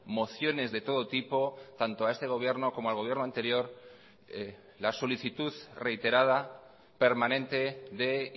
mociones de todo tipo tanto a este gobierno como al gobierno anterior la solicitud reiterada permanente de